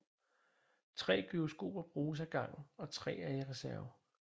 Tre gyroskoper bruges ad gangen og tre er i reserve